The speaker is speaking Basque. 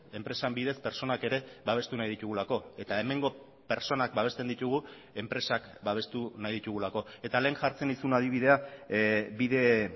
enpresen bidez pertsonak ere babestu nahi ditugulako eta hemengo pertsonak babesten ditugu enpresak babestu nahi ditugulako eta lehen jartzen nizun adibidea bide